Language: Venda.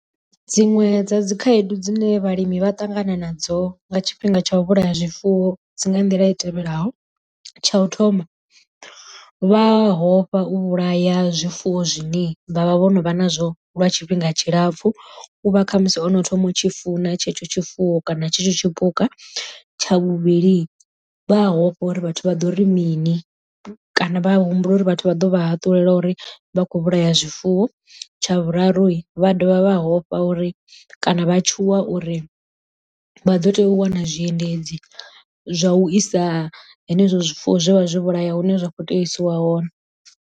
Dziṅwe dza dzi khaedu dzine vhalimi vha ṱangana nadzo nga tshifhinga tsha u vhulaya zwifuwo dzi nga nḓila i tevhelaho tsha u thoma vha hofha u vhulaya zwifuwo zwine vha vha vho no vha nazwo lwa tshifhinga tshilapfu, u vha khamusi hono thoma u tshi funa tshetsho tshifuwo kana tshetsho tshipuka. Tsha vhuvhili vha hofha uri vhathu vha ḓo ri mini kana vha humbula uri vhathu vha ḓo vha haṱula uri vha khou vhulaya zwifuwo. Tsha vhuraru vha dovha vha hofha uri kana vha tshuwa uri vha ḓo tea u wana zwiendedzi zwa u isa henezwo zwifuwo zwe vha zwi vhulaya hune zwa khou tea u isiwa hone.